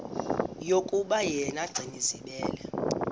yokuba yena gcinizibele